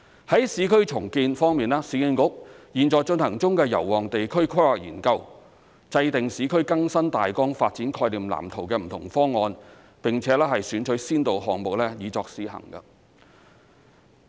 在市區重建方面，市區重建局現在進行中的油旺地區規劃研究，制訂"市區更新大綱發展概念藍圖"的不同方案，並且選取先導項目以作試行。